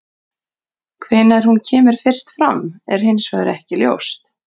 Hvenær hún kemur fyrst fram er hins vegar ekki ljóst.